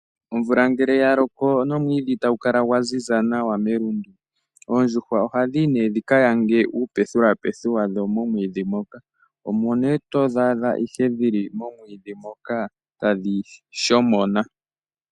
Omvula ngele ya loko nomwiidhi gwaziza nawa melundu, oondjuhwa ohadhi yi dhi ka yange uupethupethu wadho momwiidhi moka. Omo ihe todhi adha momwiidhi moka tadhi shomona.